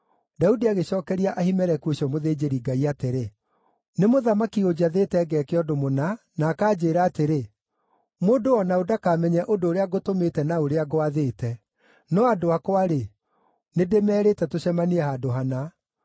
Daudi agĩcookeria Ahimeleku ũcio mũthĩnjĩri-Ngai atĩrĩ, “Nĩ mũthamaki ũnjathĩte ngeke ũndũ mũna na akanjĩĩra atĩrĩ, ‘Mũndũ o na ũ ndakamenye ũndũ ũrĩa ngũtũmĩte na ũrĩa ngwathĩte.’ No andũ akwa-rĩ, nĩ ndĩmerĩte tũcemanie handũ hana.